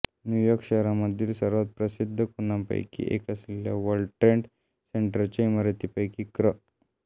new York शहरामधील सर्वात प्रसिद्ध खुणांपैकी एक असलेल्या वर्ल्ड ट्रेड सेंटरच्या इमारतींपैकी क्र